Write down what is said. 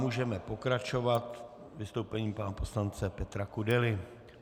Můžeme pokračovat vystoupením pana poslance Petra Kudely.